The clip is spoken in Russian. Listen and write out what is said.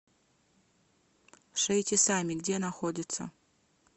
шейте сами где находится